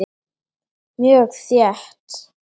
Mjög þétt.